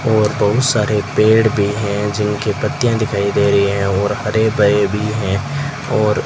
और बहुत सारे पेड़ भी हैं जिनके पत्तियां दिखाई दे रही है और हरे भरे भी हैं और --